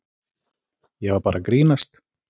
Ég var bara að grínast.